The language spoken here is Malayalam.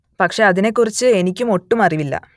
പക്ഷെ അതിനെ കുറിച്ച് എനിക്കു ഒട്ടും അറിവില്ല